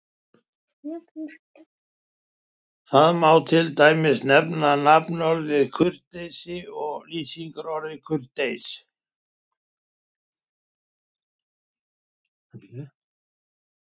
Þar má til dæmis nefna nafnorðið kurteisi og lýsingarorðið kurteis.